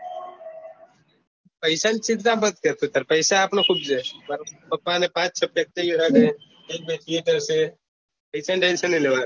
પૈસા ની ચિંતા ના કર અહિયાં પૈસા તો ખુબ છે પાપા ની પાચ-છ ફેક્ટરી છે એક બે થીએટર છે પૈસા નુંતેન ટેન્સન નઈ લેવાનું